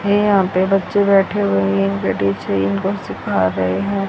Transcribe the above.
ये यहां पे बच्चे बैठे हुए हैं इनके टीचर इनको सिखा रहे हैं।